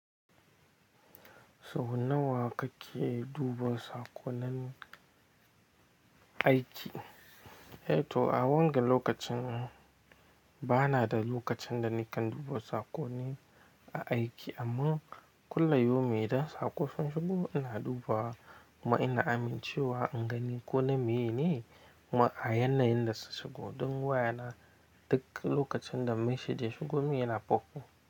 Sau nawa kake duba saƙonin aiki? Eh to, a wanga lokacin ba na da lokacin da nikan duba saƙoni a aiki amma kullayaumin idan saƙo sun shigo ina duba kuma ina amincewa an gani ko na meyene kuma a yanayin da su shigo don waya na duk lokacin da message ya shigo min yana pop up.